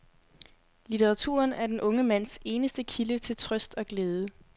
Litteraturen er den unge mands eneste kilde til trøst og glæde.